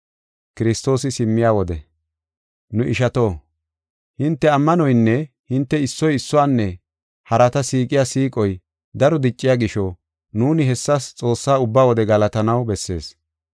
Nu ishato, hinte ammanoynne hinte issoy issuwanne harata siiqiya siiqoy daro dicciya gisho, nuuni hessas Xoossaa ubba wode galatanaw bessees.